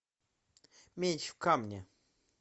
меч в камне